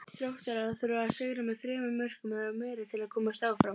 Þróttarar þurfa að sigra með þremur mörkum eða meira til að komast áfram.